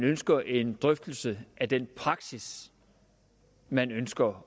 ønsker en drøftelse af den praksis man ønsker